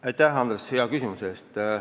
Aitäh, Andres, hea küsimuse eest!